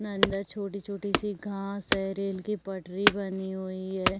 अंदर छोटी-छोटी घास है। रेल की पटरी बनी हुई है।